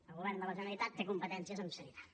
el govern de la generalitat té competències en sanitat